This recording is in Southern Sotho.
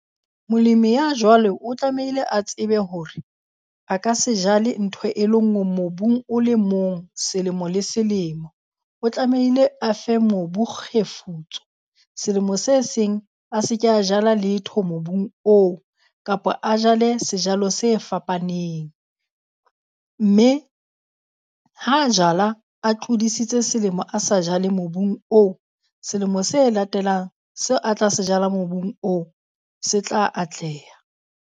Molemi ya jwalo o tlamehile a tsebe hore a ka se jale ntho e le ngwe mobung o le mong selemo le selemo. O tlamehile afe mobu kgefutso selemo se seng a se ke a jala letho mobung oo kapa a jale sejalo se fapaneng. Mme ha a jala a tlodisitse selemo a sa jale mobung oo, selemo se latelang seo a tla se jala mobung oo, se tla atleha.